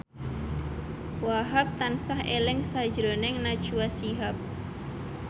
Wahhab tansah eling sakjroning Najwa Shihab